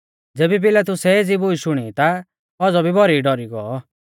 ज़ेबी पिलातुसै एज़ी बूश शुणी ता औज़ौ भी भौरी डौरी गौ